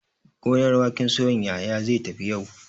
Gonar waken soya Yahaya zai tafi yau.